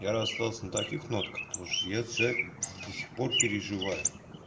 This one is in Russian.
я расстался на таких нотках потому что я человек до сих пор переживаю